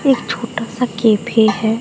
एक छोटा सा कैफे है।